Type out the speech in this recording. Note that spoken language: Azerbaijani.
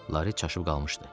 Lari çaşıb qalmışdı.